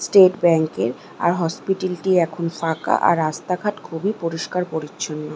State bank এর আর hospital টি এখন ফাঁকা আর রাস্তাঘাট খুবই পরিষ্কার পরিচ্ছন্ন।